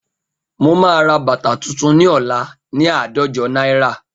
Mo máa ra bàtà tuntun ní ọ̀la ni àádọ́jo náírà